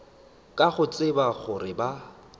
ka go tseba gore ba